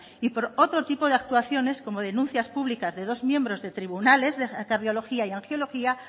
y por otro tipo de actuaciones como denuncias públicas de dos miembros de tribunales de cardiología y angiología